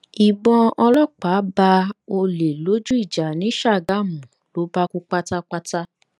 ìbọn ọlọpàá bá ọlẹ lójú ìjà ni ṣàgámù ló bá kú pátápátá